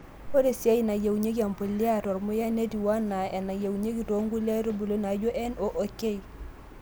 Ore isae nayieunyieki embulia te ormuya netieu ake anaa nayieunyieki toonkulie aitbuli naijo N oo K